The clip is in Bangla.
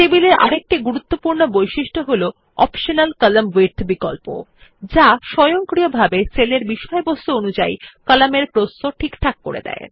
টেবিল এ আরেকটি গুরুত্বপূর্ণ বৈশিষ্ট্য হল অপ্টিমাল কলাম্ন উইডথ বিকল্প যা স্বয়ংক্রিয়ভাবে সেলের বিষয়বস্তু অনুযায়ী কলাম এর প্রস্থ ঠিকঠাক করে নেয়